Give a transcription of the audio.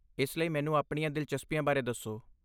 ਇਸ ਲਈ, ਮੈਨੂੰ ਆਪਣੀਆਂ ਦਿਲਚਸਪੀਆਂ ਬਾਰੇ ਦੱਸੋ।